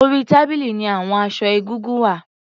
Orí tábìlì ní àwon aṣọ egúngún wà.